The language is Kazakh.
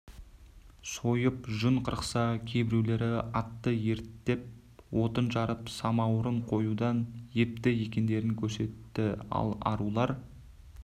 сойып жүн қырықса кейбіреулері атты ерттеп отын жарып самаурын қоюдан епті екендерін көрсетті ал арулар